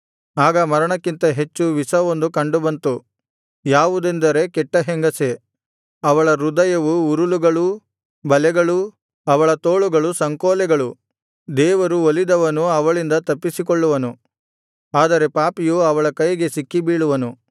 ಆಗ ಮರಣಕ್ಕಿಂತ ಹೆಚ್ಚು ವಿಷವೊಂದು ಕಂಡುಬಂತು ಯಾವುದೆಂದರೆ ಕೆಟ್ಟ ಹೆಂಗಸೇ ಅವಳ ಹೃದಯವು ಉರುಲುಗಳೂ ಬಲೆಗಳೂ ಅವಳ ತೋಳುಗಳು ಸಂಕೋಲೆಗಳು ದೇವರು ಒಲಿದವನು ಅವಳಿಂದ ತಪ್ಪಿಸಿಕೊಳ್ಳುವನು ಆದರೆ ಪಾಪಿಯು ಅವಳ ಕೈಗೆ ಸಿಕ್ಕಿಬೀಳುವನು